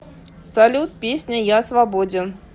салют песня я свободен